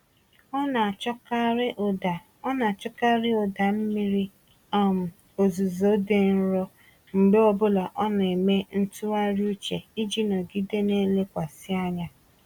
Ọ na-achọkarị ụda Ọ na-achọkarị ụda mmiri um ozuzo dị nro mgbe ọbụla ọ na-eme ntụgharị uche iji nọgide na-elekwasị anya.